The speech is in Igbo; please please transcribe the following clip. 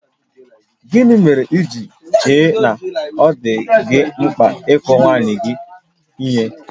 Gịnị mere i ji chee na ọ dị gị mkpa ịkụ nwunye gị ihe?